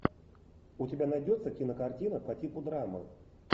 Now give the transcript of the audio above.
у тебя найдется кинокартина по типу драмы